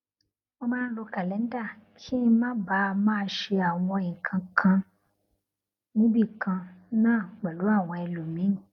mo máa ń lo kàléńdà kí n má baà máa ṣe àwọn nǹkan kan níbì kan náà pèlú àwọn ẹlòmíì